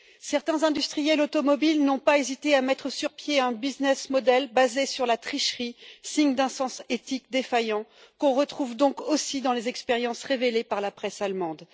Certains industriels automobiles n'ont pas hésité à mettre sur pied un business model basé sur la tricherie, signe d'un sens éthique défaillant, qu'on retrouve donc aussi dans les expériences révélées par la presse allemande.